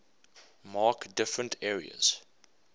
mark different areas